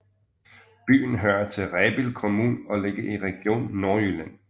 Byen hører til Rebild Kommune og ligger i Region Nordjylland